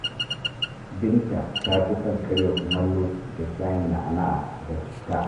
Binta ta fi son karya kumallo da shayin na’ana’a da citta